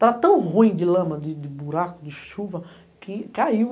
Tava tão ruim de lama, de buraco, de chuva, que caiu.